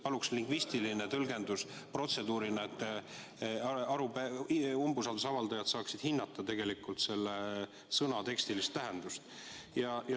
Palun lingvistilist tõlgendust protseduurina, et umbusalduse avaldajad saaksid hinnata selle sõna tekstilist tähendust.